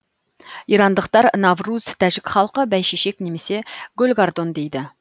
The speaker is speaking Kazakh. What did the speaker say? ирандықтар навруз тәжік халқы бәйшешек немесе гүлгардон дейді